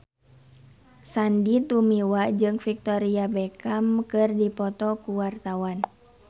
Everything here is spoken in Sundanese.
Sandy Tumiwa jeung Victoria Beckham keur dipoto ku wartawan